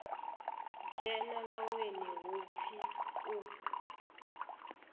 dzhena vhaṅweni hu pfi u